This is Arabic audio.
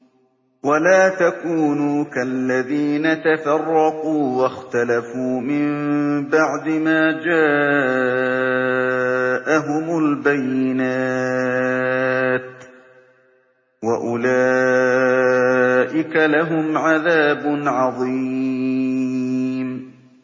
وَلَا تَكُونُوا كَالَّذِينَ تَفَرَّقُوا وَاخْتَلَفُوا مِن بَعْدِ مَا جَاءَهُمُ الْبَيِّنَاتُ ۚ وَأُولَٰئِكَ لَهُمْ عَذَابٌ عَظِيمٌ